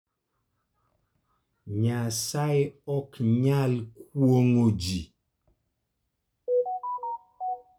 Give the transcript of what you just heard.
Nyasaye ok nyal kuong'o ji.